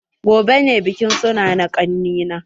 Gobe ne bikin suna na kani na.